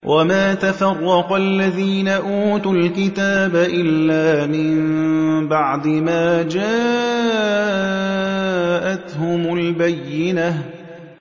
وَمَا تَفَرَّقَ الَّذِينَ أُوتُوا الْكِتَابَ إِلَّا مِن بَعْدِ مَا جَاءَتْهُمُ الْبَيِّنَةُ